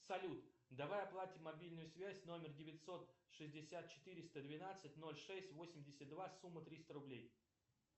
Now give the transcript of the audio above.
салют давай оплатим мобильную связь номер девятьсот шестьдесят четыреста двенадцать нолль шесть восемьдесят два сумма триста рублей